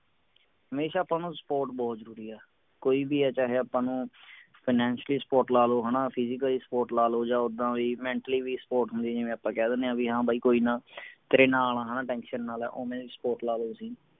ਹਮੇਸ਼ਾ ਆਪਾਂ ਨੂੰ support ਬਹੁਤ ਜਰੂਰੀ ਆ ਕੋਈ ਵੀ ਹੈ ਚਾਹੇ ਆਪਾਂ ਨੂੰ finacially support ਲਾ ਲਓ ਹਣਾ ਜਾਂ physical support ਲੈ ਲਓ ਜਾਂ ਉੱਦਾਂ ਵੀ mentally ਵੀ support ਹੁੰਦੀ ਹੈ ਜਿਵੇਂ ਆਪਾਂ ਕਹਿ ਦਿੰਨੇ ਆ ਵੀ ਹਾਂ ਬਾਈ ਕੋਈ ਨਾ ਤੇਰੇ ਨਾਲ ਹਾਂ tension ਨਾ ਲੈ ਓਵੇਂ ਦੀ support ਲੈ ਲਓ ਤੁਸੀਂ